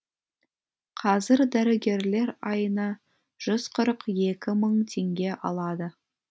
қазір дәрігерлер айына жүз қырық екі мың теңге алады